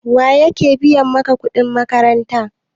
Waye yake biya maka kuɗin makaranta?